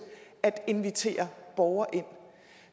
at invitere borgere ind